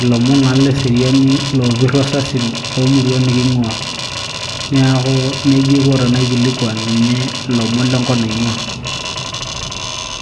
ilomon naa leseriani loopirr osasin loomurua niking'uaa niaku nejia aiko tenaikilikuan ninye ilomon lenkop naing'ua.